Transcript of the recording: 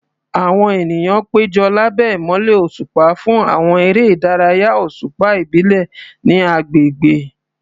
Àwọn ènìyàn péjọ lábẹ́ ìmọ́lẹ̀ òṣùpá fún àwọn eré ìdárayá òṣùpá ìbílẹ̀ ní agbègbè.